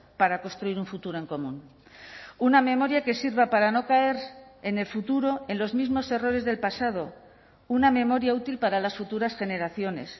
para construir un futuro en común una memoria que sirva para no caer en el futuro en los mismos errores del pasado una memoria útil para las futuras generaciones